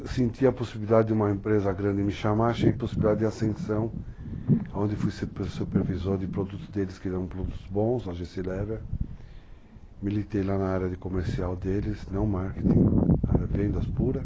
É, eu senti a possibilidade de uma empresa grande me chamar, achei possibilidade de ascensão, onde fui supervisor de produtos deles, criamos produtos bons, AGC Lever, militei lá na área de comercial deles, não marketing, vendas puras,